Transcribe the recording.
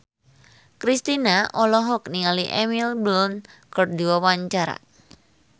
Kristina olohok ningali Emily Blunt keur diwawancara